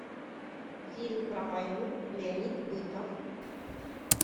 фильм про войну леонид быков